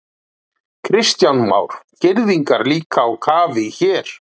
Kristján Már: Girðingar líka á kafi hér?